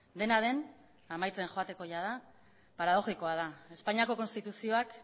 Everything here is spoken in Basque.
dena den amaitzen joateko jada paradoxikoa da espainiako konstituzioak